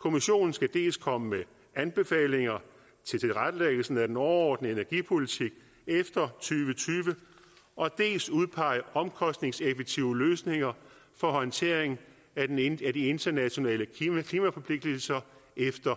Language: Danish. kommissionen skal dels komme med anbefalinger til tilrettelæggelsen af den overordnede energipolitik efter tyve og dels udpege omkostningseffektive løsninger for håndtering af de internationale klimaforpligtelser efter